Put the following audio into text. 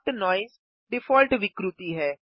soft noise default विकृति है